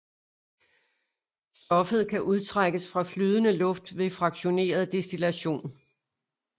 Stoffet kan udtrækkes fra flydende luft ved fraktioneret destillation